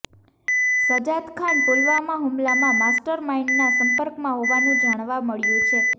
સજાદખાન પુલવામા હુમલાના માસ્ટર માઇન્ડના સંપર્કમાં હોવાનું જાણવા મળ્યું છે